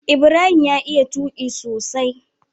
Ibarhim ya iya tuqi sosai